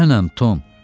Mənəm Tom.